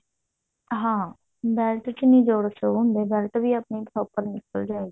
ਹਾਂ belt ਚ ਨੀ ਜੋੜ show ਹੁੰਦੇ belt ਵੀ ਆਪਣੀ proper ਨਿਕਲ ਜਾਇਗੀ